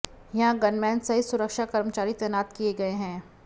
यहां गनमैन सहित सुरक्षा कर्मचारी तैनात किए गए हैं